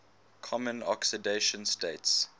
common oxidation states